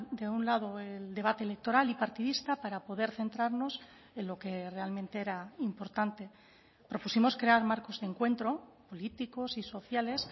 de un lado el debate electoral y partidista para poder centrarnos en lo que realmente era importante propusimos crear marcos de encuentro políticos y sociales